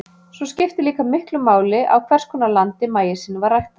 Svo skiptir líka miklu máli á hvers konar landi maísinn var ræktaður.